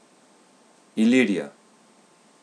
Ilirija.